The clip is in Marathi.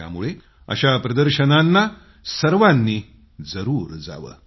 त्यामुळे अशा प्रदर्शनांना सर्वांनीजरूर जावं